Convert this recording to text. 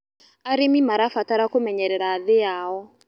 Arĩmĩ marabatara kũmenyerera thĩĩ yao